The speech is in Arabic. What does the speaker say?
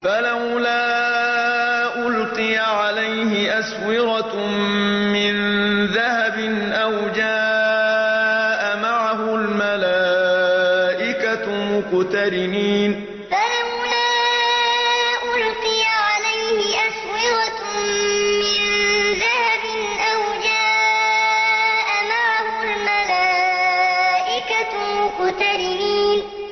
فَلَوْلَا أُلْقِيَ عَلَيْهِ أَسْوِرَةٌ مِّن ذَهَبٍ أَوْ جَاءَ مَعَهُ الْمَلَائِكَةُ مُقْتَرِنِينَ فَلَوْلَا أُلْقِيَ عَلَيْهِ أَسْوِرَةٌ مِّن ذَهَبٍ أَوْ جَاءَ مَعَهُ الْمَلَائِكَةُ مُقْتَرِنِينَ